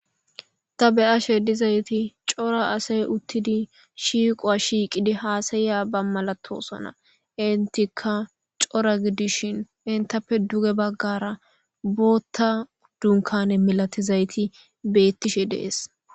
Ta be7ashe dizayti cora asay uttidi shiiqowa shiiqidi haasayiya ba malatosona intika cora gidishin intappe duge baggara bootta dunkane milatizayti beettishe dees.